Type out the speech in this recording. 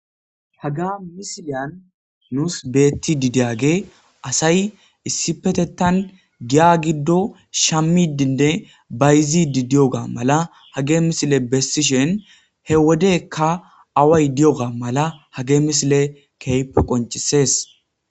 haga misiliyan nuus beettidi diyagey asay issipetethan giya giddo shammidinne bayzidi di7oga mala hagey misile bessishin he wodekka away diyogaa mala hagey misiley kehippe qoncisees